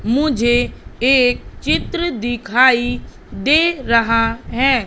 मुझे एक चित्र दिखाई दे रहा हैं।